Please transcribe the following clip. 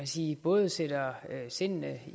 sige både sætter sindene